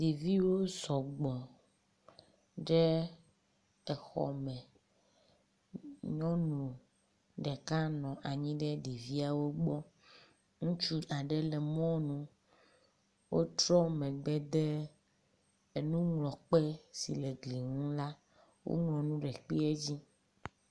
Yeviwo sɔgbɔ ɖe exɔ me. Nyɔnu ɖeka nɔ anyi ɖe ɖeviawo gbɔ. Ŋutsu aɖe le mɔnu. wotrɔ megbe de enuŋlɔkpe si le egli nu la woŋlɔ nu ɖe ekpea dzi.